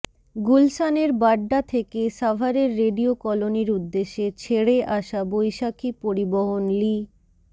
গুলশানের বাড্ডা থেকে সাভারের রেডিও কলোনীর উদ্দেশে ছেড়ে আসা বৈশাখী পরিবহন লি